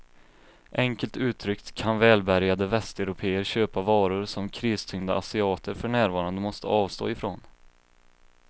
Enkelt uttryckt kan välbärgade västeuropéer köpa varor som kristyngda asiater för närvarande måste avstå ifrån.